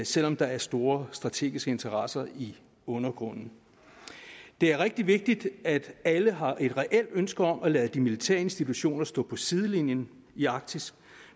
selv om der er store strategiske interesser i undergrunden det er rigtig vigtigt at alle har et reelt ønske om at lade de militære institutioner stå på sidelinjen i arktis